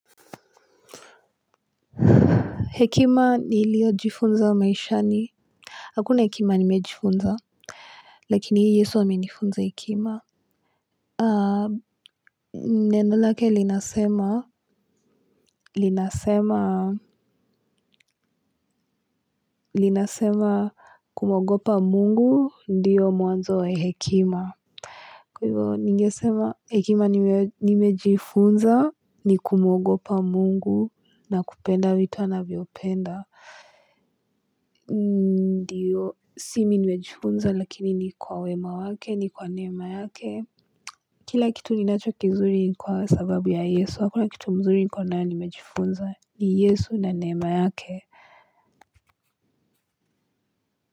Hekima nilio jifunza wa maishani. Hakuna hekima nimejifunza. Lakini yesu amenifunza hekima. Nenolake linasema. Linasema. Linasema kumwogopa mungu. Ndiyo mwanzo wa hekima. Kwa hivyo ningesema hekima nimejifunza. Ni kumwogopa mungu. Na kupenda vitu anavyopenda. Ndiyo. Simi nimejifunza. Lakini ni kwa wema wake. Ni kwa nema yake kila kitu ninacho kizuri ni kwa sababu ya yesu hakuna kitu mzuri nkuwa nao nimejifunza ni yesu na nema yake.